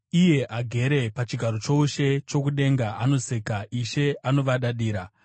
Iye agere pachigaro choushe chokudenga anoseka; Ishe anovadadira.